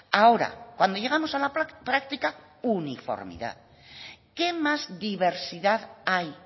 ahora cuando llegamos a la práctica uniformidad qué más diversidad hay